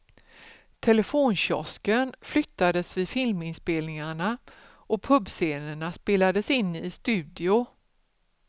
Telefonkiosken flyttades vid filminspelningarna och pubscenerna spelades in i studio.